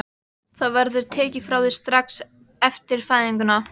Það verður tekið frá þér strax eftir fæðinguna.